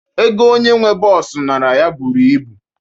Ego onye nwee bọọsu nara ya buru ibu